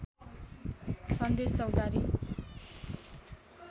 सन्देश चौतारी